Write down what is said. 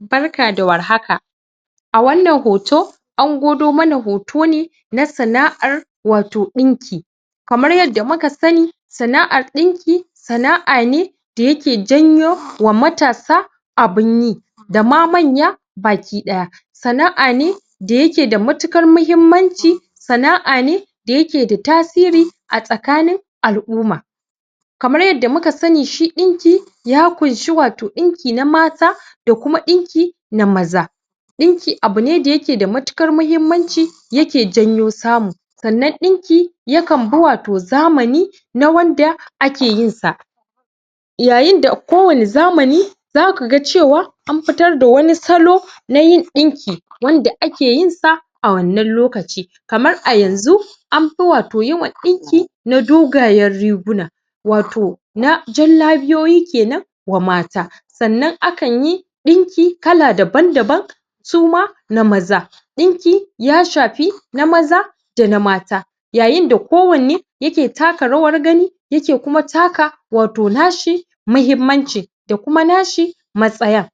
Barka da warhaka a wanna hoto an gwado mana hoto ne na san'ar wato ɗinki kamar yanda muka sani sana'ar ɓinki sana'a ne da yake janyo wa matasa abun yi da ma manya baki-ɗaya sana'a ne da yake da matuƙar mahimmnci sana'a ne da yake da tasiri a tsakanin al'uma kamar yanda muka sani shi ɗinki ya ƙunshi wato ɗinki na mata da kuma ɗinki na maza ɗinki abu ne da yake da matuƙar mahimmanci yake janyo samu sannan ɗinki yakan bi wato zamani na wanda ake yinsa yayinda a kowani zamani zaku ga cewa an fitar da wani salo na yin ɗinki wanda ake yinsa a wannan lokaci kamar a yanxu an fi wato yawan ɗinki na dogayen riguna wato na jallabiyoyi kenan wa mata sannan akanyi ɗinki kala daban-daban suma na maza ɗinki ya shafi na maza da na mata yayinda kowanne yake taka rawar gani yake kuma taka wato nashi mahimmanci da kuma nashi matsayar